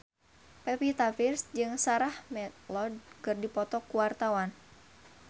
Pevita Pearce jeung Sarah McLeod keur dipoto ku wartawan